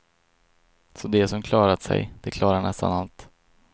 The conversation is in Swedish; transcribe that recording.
Så de som klarat sig, de klarar nästan allt.